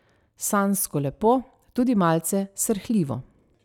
Sanjsko lepo, tudi malce srhljivo.